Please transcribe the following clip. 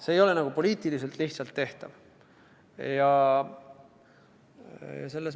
See ei ole poliitiliselt lihtsalt tehtav.